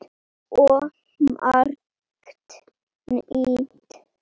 Svo margt nýtt.